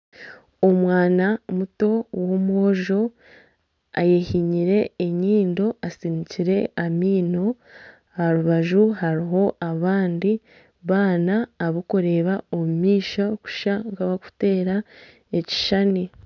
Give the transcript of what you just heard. Omwana muto ow'omwojo ayehinyire enyindo atsinikire amaino aharubaju hariho abandi baana abarikureeba omumaisho nkabarikuteera ekishushani